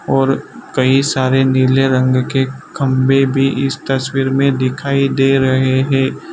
और कई सारे नीले रंग के खंभे भी इस तस्वीर में दिखाई दे रहे हैं।